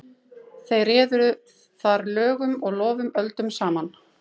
Þeir réðu þar lögum og lofum öldum saman.